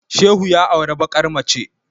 Shehu ya auri bakar mace